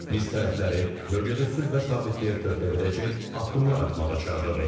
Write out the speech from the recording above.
Biz tərəfləri bölgədə sülh və sabitliyə töhfə verəcək addımlar atmağa çağırırıq.